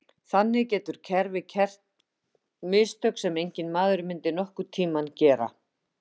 þannig getur kerfið gert mistök sem enginn maður myndi nokkurn tíma gera